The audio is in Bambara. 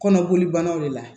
Kɔnɔboli bannaw de la